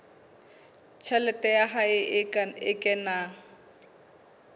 tjhelete ya hae e kenang